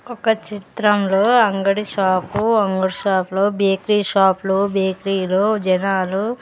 ఒక చిత్రంలో అంగడి షాపు అంగడి షాప్లో బేకరీ షాప్లో బేకరీ లో జనాలు.